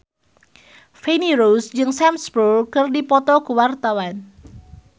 Feni Rose jeung Sam Spruell keur dipoto ku wartawan